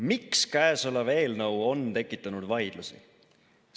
Miks käesolev eelnõu on tekitanud vaidlusi?